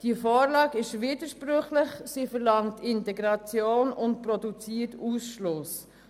Die Vorlage ist widersprüchlich, sie verlangt Integration und produziert Ausschluss.